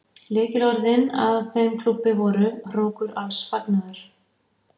Lykilorðin að þeim klúbbi voru: hrókur alls fagnaðar.